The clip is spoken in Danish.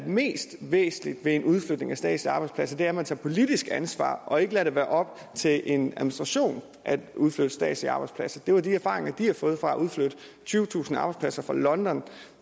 væsentligste ved en udflytning af statslige arbejdspladser er at man tager politisk ansvar og ikke lader det være op til en administration at udflytte statslige arbejdspladser det var de erfaringer som de havde fået fra at udflytte tyvetusind arbejdspladser fra london